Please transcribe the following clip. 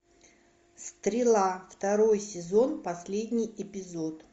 стрела второй сезон последний эпизод